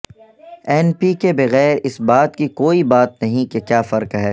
N P کے بغیر اس بات کی کوئی بات نہیں کہ کیا فرق ہے